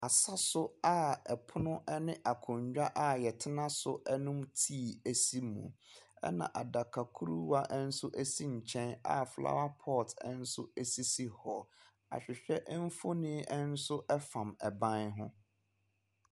Asa so aa ɛpono ɛne akonwa aa wɔ tena so ɛnom tii esi mu. Ɛna adakruwaa ɛnso esi nkyɛn aa flawa pɔt ɛnso esisi hɔ. Ahwehwɛ ɛmfonin ɛnso ɛfam ban ho.